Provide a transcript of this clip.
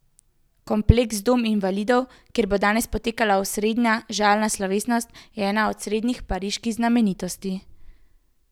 Kompleks Dom invalidov, kjer bo danes potekala osrednja žalna slovesnost, je ena osrednjih pariških znamenitosti.